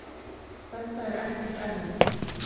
þetta er ekkert erfitt.